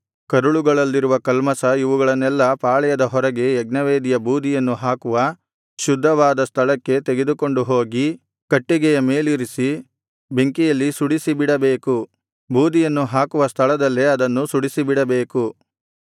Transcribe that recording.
ಕರುಳುಗಳು ಕರುಳುಗಳಲ್ಲಿರುವ ಕಲ್ಮಷ ಇವುಗಳನ್ನೆಲ್ಲಾ ಪಾಳೆಯದ ಹೊರಗೆ ಯಜ್ಞವೇದಿಯ ಬೂದಿಯನ್ನು ಹಾಕುವ ಶುದ್ಧವಾದ ಸ್ಥಳಕ್ಕೆ ತೆಗೆದುಕೊಂಡು ಹೋಗಿ ಕಟ್ಟಿಗೆಯ ಮೇಲಿರಿಸಿ ಬೆಂಕಿಯಲ್ಲಿ ಸುಡಿಸಿಬಿಡಬೇಕು ಬೂದಿಯನ್ನು ಹಾಕುವ ಸ್ಥಳದಲ್ಲೇ ಅದನ್ನು ಸುಡಿಸಿಬಿಡಬೇಕು